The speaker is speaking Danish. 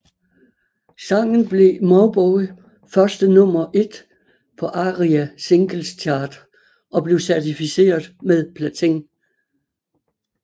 Sangen blev Mauboy første nummer et på ARIA Singles Chart og blev certificeret med platin